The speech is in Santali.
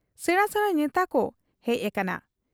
ᱥᱮᱬᱟ ᱥᱮᱬᱟ ᱱᱮᱛᱟᱠᱚ ᱦᱮᱡ ᱟᱠᱟᱱᱟ ᱾